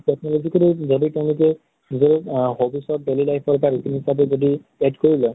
সেই technology যদি তেওঁলোকে নিজৰ আহ hobbies ত daily life ৰ বা এনেকুৱাকে যদি add কৰি লয়